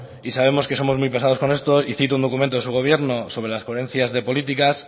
y sabemos que somos muy pesados con esto y cito un documento de su gobierno sobre las ponencias de políticas